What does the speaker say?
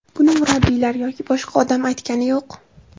Buni murabbiylar yoki boshqa odam aytgani yo‘q.